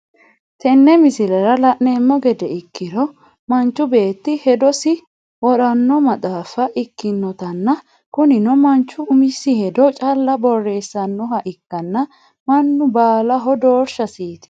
Tenne miislera laanemo geede ekirro manchuu betti hedossi woranno maxxafa ekkinotana kunnino manchuu umissi heddo challa boresannoha ekkana mannu balahoo dorshasitti.